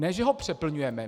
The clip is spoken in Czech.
Ne že ho přeplňujeme.